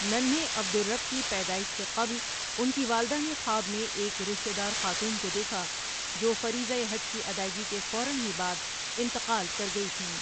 ننھے عبدالرب کی پیدائش سے قبل ان کی والدہ نے خواب میں ایک رشتے دار خاتون کو دیکھا جو فریضہ حج کی ادائیگی کے فوراً ہی بعد انتقال کر گئی تھیں ۔